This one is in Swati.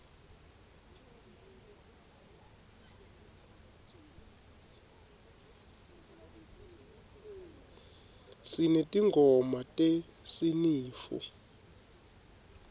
sinetingoma tesinifu